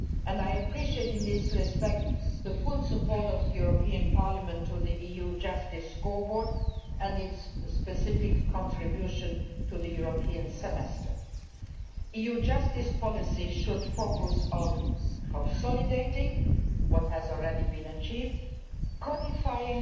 And I appreciate in this respect the full support of this Parliament for the EU justice scoreboard and its specific contribution to the European Semester. EU justice policy should focus on consolidating what has already been achieved, codifying